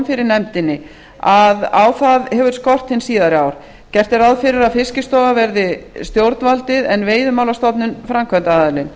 fyrir nefndinni að á það hefur skort hin síðari ár gert er ráð fyrir að fiskistofa verði stjórnvaldið en veiðimálastofnun framkvæmdaraðilinn